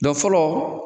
fɔlɔ